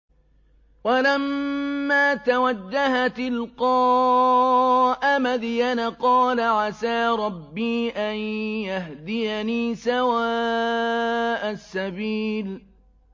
وَلَمَّا تَوَجَّهَ تِلْقَاءَ مَدْيَنَ قَالَ عَسَىٰ رَبِّي أَن يَهْدِيَنِي سَوَاءَ السَّبِيلِ